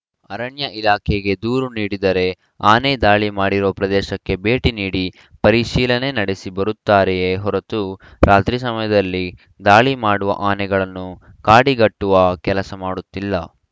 ಅರಣ್ಯ ಇಲಾಖೆಗೆ ದೂರು ನೀಡಿದರೆ ಆನೆ ದಾಳಿ ಮಾಡಿರುವ ಪ್ರದೇಶಕ್ಕೆ ಭೇಟಿ ನೀಡಿ ಪರಿಶೀಲನೆ ನಡೆಸಿ ಬರುತ್ತಾರೆಯೇ ಹೊರತು ರಾತ್ರಿ ಸಮಯದಲ್ಲಿ ದಾಳಿ ಮಾಡುವ ಆನೆಗಳನ್ನು ಕಾಡಿಗಟ್ಟುವ ಕೆಲಸ ಮಾಡುತ್ತಿಲ್ಲ